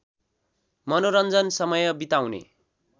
मनोरञ्जन समय बिताउने